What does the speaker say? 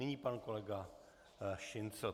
Nyní pan kolega Šincl.